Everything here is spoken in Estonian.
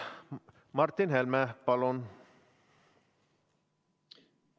Martin Helme, palun!